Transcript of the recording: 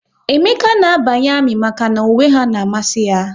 Emeka na abanye ami maka na uwe ha n'amasi ya